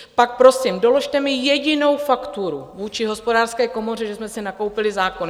Pak prosím, doložte mi jedinou fakturu vůči Hospodářské komoře, že jsme si nakoupili zákon.